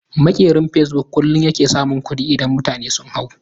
Maƙerin fasebuk kullun yake samun kuɗi idan mutane sun hau.